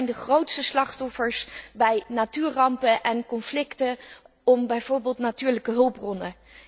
Zij zijn de grootste slachtoffers bij natuurrampen en conflicten over bijvoorbeeld natuurlijke hulpbronnen.